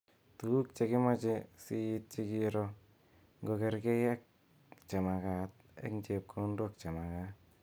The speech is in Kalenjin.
Tukut chekimache siityi kiro ngokokergei ak chemagat eg chepkondok chemagat.